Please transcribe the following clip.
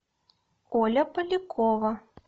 оля полякова